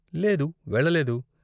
లేదు, వెళ్ళలేదు.